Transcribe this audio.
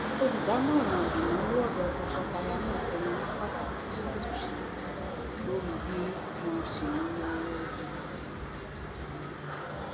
olùdámọràn ìnáwó ọdọ tọkọtaya náà tẹnu mọ pàtàkì ìṣàtúnṣe lórí bí wọn ń se nàwó